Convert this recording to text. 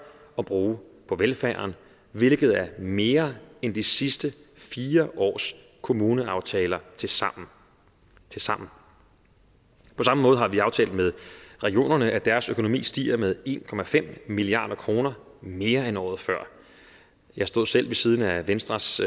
at bruge på velfærden hvilket er mere end de sidste fire års kommuneaftaler tilsammen tilsammen på samme måde har vi aftalt med regionerne at deres økonomi stiger med en milliard kroner mere end året før jeg stod selv ved siden af venstres